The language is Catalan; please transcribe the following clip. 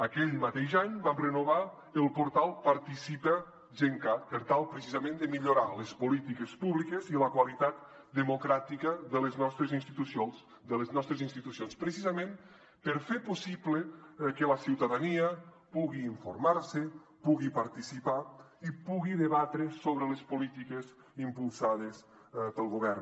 aquell mateix any vam renovar el portal participa gencat per tal precisament de millorar les polítiques públiques i la qualitat democràtica de les nostres institucions precisament per fer possible que la ciutadania pugui informarse pugui participar i pugui debatre sobre les polítiques impulsades pel govern